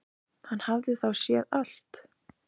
Hann hafði þá séð allt!